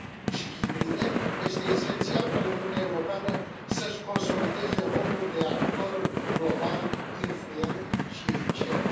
și hibride, este esențial ca Uniunea Europeană să și consolideze rolul de actor global, influent și eficient.